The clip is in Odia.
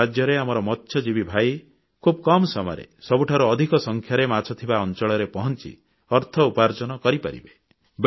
ଏହା ସାହାଯ୍ୟରେ ଆମର ମତ୍ସ୍ୟଜୀବୀ ଭାଇ ଖୁବ୍ କମ ସମୟରେ ସବୁଠାରୁ ଅଧିକ ସଂଖ୍ୟାରେ ମାଛ ଥିବା ଅଂଚଳରେ ପହଂଚି ଅର୍ଥ ଉପାର୍ଜନ କରିପାରିବେ